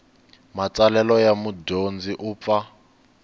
matsalelo ya mudyondzi u pfa